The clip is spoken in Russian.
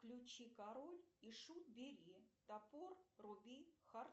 включи король и шут бери топор руби хар